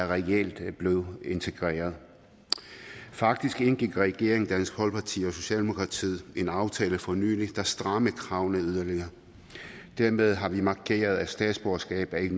reelt er blevet integreret faktisk indgik regeringen dansk folkeparti og socialdemokratiet en aftale for nylig der strammede kravene yderligere dermed har vi markeret at statsborgerskab ikke